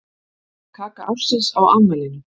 Kaka ársins á afmælinu